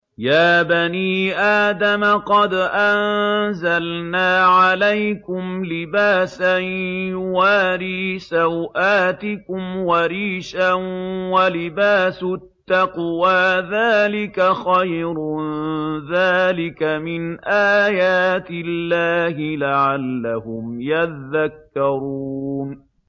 يَا بَنِي آدَمَ قَدْ أَنزَلْنَا عَلَيْكُمْ لِبَاسًا يُوَارِي سَوْآتِكُمْ وَرِيشًا ۖ وَلِبَاسُ التَّقْوَىٰ ذَٰلِكَ خَيْرٌ ۚ ذَٰلِكَ مِنْ آيَاتِ اللَّهِ لَعَلَّهُمْ يَذَّكَّرُونَ